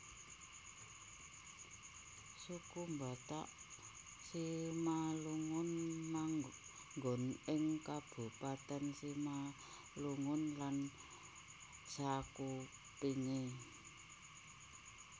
Suku Batak Simalungun manggon ing Kabupatèn Simalungun lan sakupengé